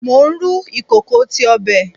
Mo n ru ikoko ti ọbẹ